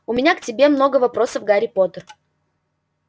у меня к тебе много вопросов гарри поттер